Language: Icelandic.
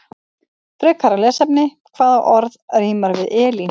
Frekara lesefni: Hvaða orð rímar við Elín?